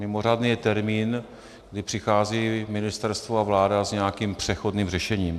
Mimořádný je termín, kdy přichází ministerstvo a vláda s nějakým přechodným řešením.